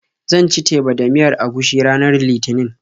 Zan ci teba da miyar agushi ranar Litinin.